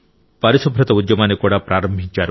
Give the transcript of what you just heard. పరిశుభ్రత ఉద్యమాన్ని కూడా ప్రారంభించారు